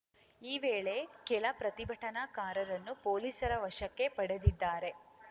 ಈ ವೇಳೆ ಕೆಲ ಪ್ರತಿಭಟನಾಕಾರರನ್ನೂ ಪೊಲೀಸರ ವಶಕ್ಕೆ ಪಡೆದಿದ್ದಾರೆ